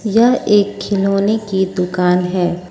यह एक खिलौने की दुकान है।